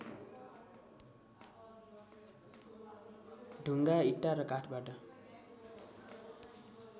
ढुङ्गा इँटा र काठबाट